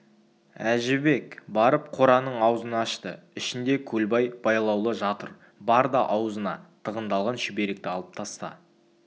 әжібек барып қораның аузын ашты ішінде көлбай байлаулы жатыр бар да аузына тығындалған шүберекті алып таста